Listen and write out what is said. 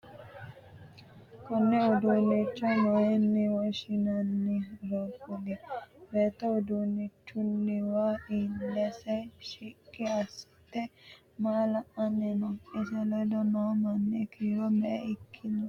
Konne uduunnicho mayine woshinnanniro kuli? Beetto uduunichunniwa ilese shiqi asite maa la'anni no? Ise ledo noo manni kiiro me"e ikitanno?